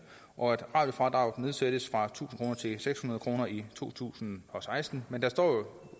og fra at radiofradraget nedsættes fra tusind kroner til seks hundrede kroner i to tusind og seksten men der